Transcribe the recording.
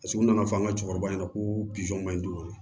Paseke u nana fɔ an ka cɛkɔrɔba ɲɛna ko man ɲi dun